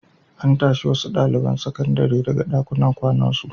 An tashi wasu ɗaliban sakandare daga ɗakunan kwanan su.